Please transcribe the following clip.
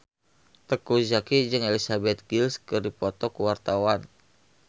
Teuku Zacky jeung Elizabeth Gillies keur dipoto ku wartawan